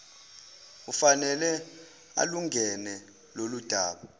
ufanele alungene loludaba